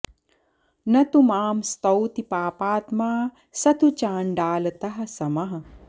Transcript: न तु मां स्तौति पापात्मा स तु चण्डालतः समः